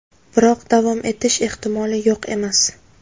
Biroq davom etish ehtimoli yo‘q emas.